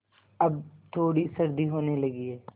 अब थोड़ी सर्दी होने लगी है